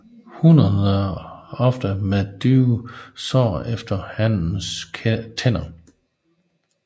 Hunnerne ofte med dybe sår efter hannens tænder